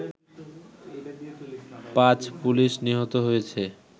৫ police নিহত হয়েছে